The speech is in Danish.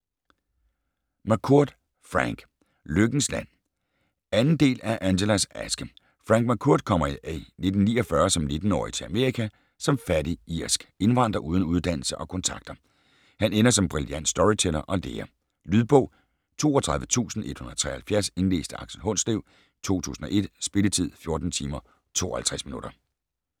McCourt, Frank: Lykkens land 2. del af Angelas aske. Frank McCourt kommer i 1949 som 19-årig til Amerika som fattig, irsk indvandrer uden uddannelse og kontakter. Han ender som brillant storyteller og lærer. Lydbog 32173 Indlæst af Aksel Hundslev, 2001. Spilletid: 14 timer, 52 minutter.